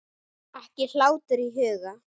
Ekki hlátur í huga.